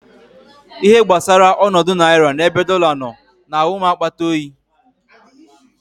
Ihe gbasara ọnọdụ naira n'ebe dọla nọ na-awụ m akpata oyi.